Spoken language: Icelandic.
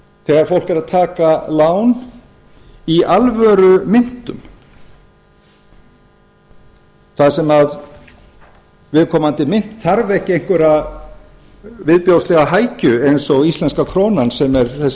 þegar fólk er að taka lán í alvörumynt þar sem viðviðkomandi mynt þarf ekki einhverja viðbjóðslega hækju eins og íslenska krónan sem er þessi